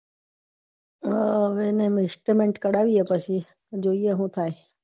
અમ એનું estimate કાઢવી એ પછી જોઈં સુ થાય